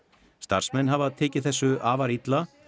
starfsmenn hafa tekið þessu afar illa